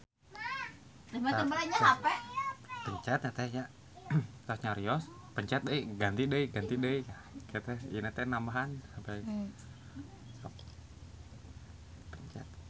Hawa di Finlandia tiris